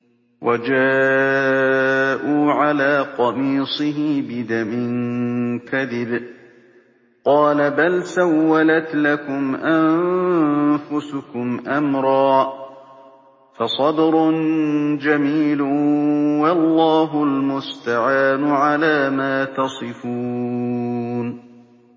وَجَاءُوا عَلَىٰ قَمِيصِهِ بِدَمٍ كَذِبٍ ۚ قَالَ بَلْ سَوَّلَتْ لَكُمْ أَنفُسُكُمْ أَمْرًا ۖ فَصَبْرٌ جَمِيلٌ ۖ وَاللَّهُ الْمُسْتَعَانُ عَلَىٰ مَا تَصِفُونَ